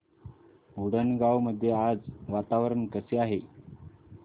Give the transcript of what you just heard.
उंडणगांव मध्ये आज वातावरण कसे आहे